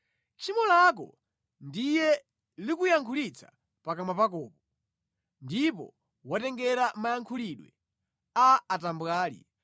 Tchimo lako ndiye likuyankhulitsa pakamwa pakopo; ndipo watengera mayankhulidwe a atambwali.